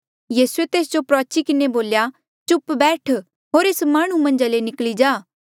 यीसूए तेस जो प्रुआची किन्हें बोल्या चुप बैठ होर एस माह्णुं मन्झा ले निकली जा